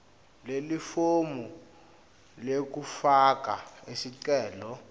lelifomu lekufaka sicelo